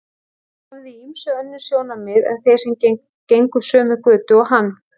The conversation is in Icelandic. Hann hafði í ýmsu önnur sjónarmið en þeir sem gengu sömu götu og hann.